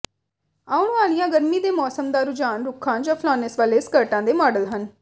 ਆਉਣ ਵਾਲੀਆਂ ਗਰਮੀ ਦੇ ਮੌਸਮ ਦਾ ਰੁਝਾਨ ਰੁੱਖਾਂ ਜਾਂ ਫਲੱਨੇਸ ਵਾਲੇ ਸਕਰਟਾਂ ਦੇ ਮਾਡਲ ਹਨ